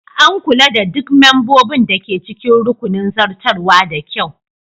An kula da duk membobin da ke cikin rukunin zartarwa da kyau